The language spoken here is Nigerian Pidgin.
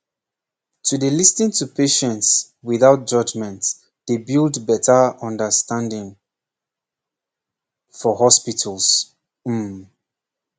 to dey lis ten to patients without judgement dey build better understanding pause for hospitals um